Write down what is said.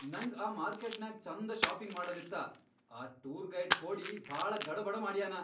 ನಂಗ್ ಆ ಮಾರ್ಕೆಟ್ನ್ಯಾಗ್ ಛಂದ ಷಾಪಿಂಗ್ ಮಾಡದಿತ್ತ, ಆ ಟೂರ್ ಗೈಡ್ ಖೋಡಿ ಭಾಳ ಗಡಬಡ ಮಾಡ್ಯಾನ.